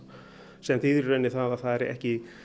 sem þýðir í rauninni það að það er ekki